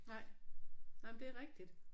Nej. Nej men det er rigtigt